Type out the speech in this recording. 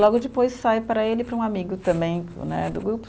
Logo depois, sai para ele e para um amigo também né, do grupo.